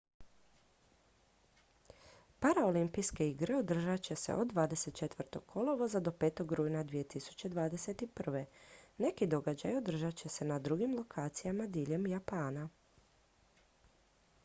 paraolimpijske igre održat će se od 24. kolovoza do 5. rujna 2021. neki događaji održat će se na drugim lokacijama diljem japana